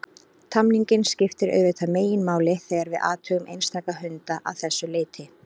Tamningin skiptir auðvitað meginmáli þegar við athugum einstaka hunda að þessu leyti.